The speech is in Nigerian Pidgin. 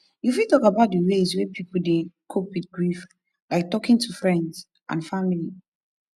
you fit talk about di ways wey people dey cope with grief like talking to friends and family